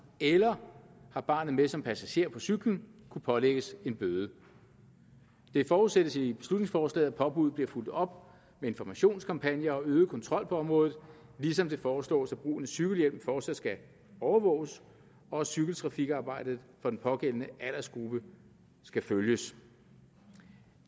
eller har barnet med som passager på cyklen kunne pålægges en bøde det forudsættes i beslutningsforslaget at påbuddet bliver fulgt op informationskampagner og øget kontrol på området ligesom det foreslås at brugen af cykelhjelm fortsat skal overvåges og cykeltrafikarbejdet for den pågældende aldersgruppe skal følges